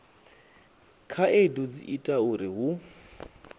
khaedu dzi ita uri hu